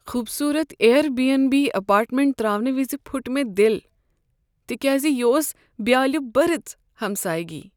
خوبصورت Airbnb apartment ترٛاونہٕ وِزِ پھُٹ مےٚ دِل تکیاز یہ اوس بیالہِ برٕژ ہمسایگی۔